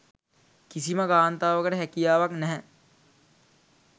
කිසිම කාන්තාවකට හැකියාවක් නැහැ.